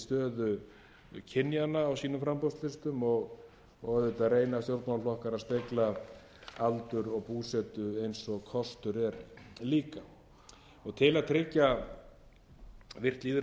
stöðu kynjanna á sínum framboðslistum og auðvitað reyna stjórnmálaflokkar að spegla aldur og búsetu eins og kostur er líka til að tryggja virkt lýðræði við val fulltrúa flokka á